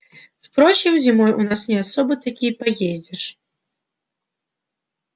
впрочем зимой у нас не особо-то и поездишь